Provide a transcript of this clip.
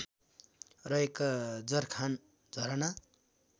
रहेका जरखान झरना